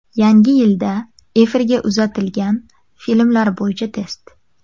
Yangi yilda efirga uzatiladigan filmlar bo‘yicha test.